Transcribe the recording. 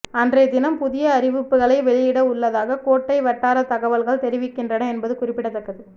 அன்றைய தினம் புதிய அறிவிப்புகளை வெளியிட உள்ளதாக கோட்டை வட்டார தகவல்கள் தெரிவிக்கின்றன என்பது குறிப்பிடத்தக்கது